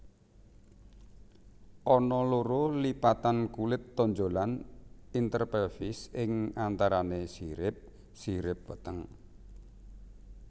Ana loro lipatan kulit tonjolan interpelvis ing antarané sirip sirip weteng